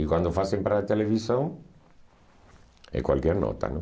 E quando fazem para a televisão, é qualquer nota, não?